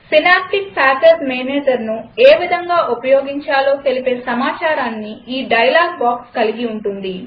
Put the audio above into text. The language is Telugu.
సినాప్టిక్ ప్యాకేజ్ managerను ఏ విధంగా ఉపయోగించాలో తెలిపే సమాచారాన్ని ఈ డైలాగ్ బాక్స్ కలిగి ఉంటుంది